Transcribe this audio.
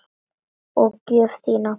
Og gjöf þína.